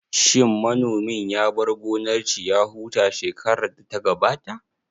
Shin manomin ya bar gonar shi ya huta shekarar da ta gabata?